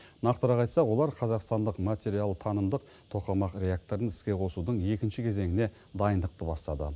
нақтырақ айтсақ олар қазақстандық материалтанымдық тоқамақ реакторын іске қосудың екінші кезеңіне дайындықты бастады